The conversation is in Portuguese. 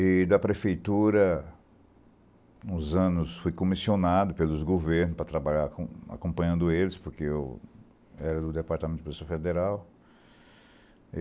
E da prefeitura, uns anos, fui comissionado pelos governos para trabalhar acompanhando eles, porque eu era do Departamento da Policia Federal.